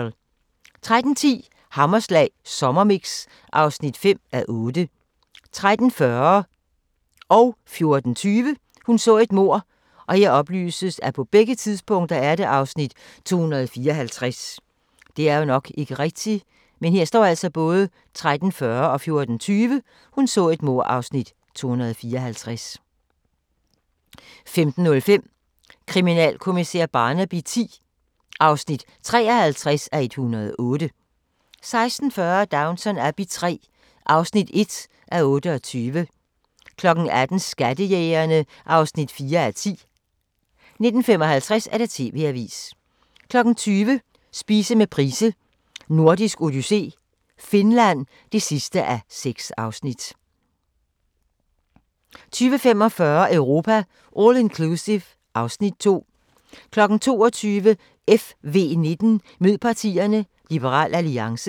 13:10: Hammerslag Sommermix (5:8) 13:40: Hun så et mord (254:267) 14:20: Hun så et mord (254:267) 15:05: Kriminalkommissær Barnaby X (53:108) 16:40: Downton Abbey III (1:28) 18:00: Skattejægerne (4:10) 19:55: TV-avisen 20:00: Spise med Price: Nordisk Odyssé - Finland (6:6) 20:45: Europa All Inclusive (Afs. 2) 22:00: FV19: Mød partierne – Liberal Alliance